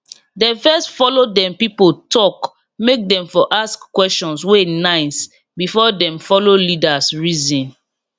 dem first follow dem people talk make dem for ask questions wey nice before dem follow leaders reason